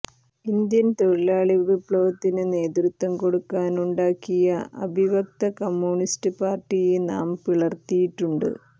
Indian തൊഴിലാളി വിപ്ലവത്തിന് നേതൃത്വം കൊടുക്കാനുണ്ടാക്കിയ അഭിവക്ത കമ്മ്യൂണിസ്റ്റ് പാർട്ടിയെ നാം പിളർത്തിയിട്ടുണ്ട്